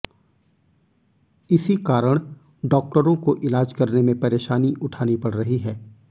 इसी कारण डाक्टरों को ईलाज करने में परेशानी उठानी पड़ रही है